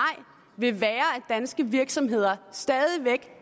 vil være at danske virksomheder stadig væk